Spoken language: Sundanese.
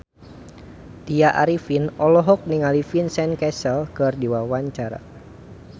Tya Arifin olohok ningali Vincent Cassel keur diwawancara